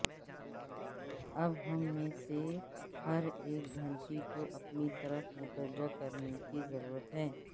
اب ہم میں سے ہر ایک گھنٹی کو اپنی طرف متوجہ کرنے کی ضرورت ہے